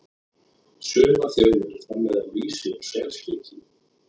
Sumar þjóðir framleiða lýsi úr selspiki.